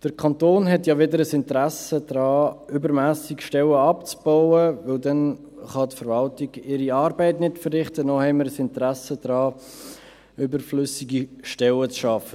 Der Kanton hat ja weder ein Interesse daran, übermässig Stellen abzubauen, denn dann kann die Verwaltung ihre Arbeit nicht verrichten, noch haben wir ein Interesse daran, überflüssige Stellen zu schaffen.